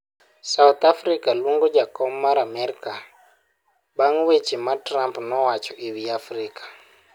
South Africa luongo jakom mar Amerka bang' weche ma Trump nowacho e wi Afrika